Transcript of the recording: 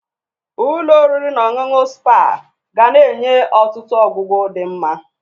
Ụlọ oriri na ọṅụṅụ sipa ga na-enye ọtụtụ ọgwụgwu di nma.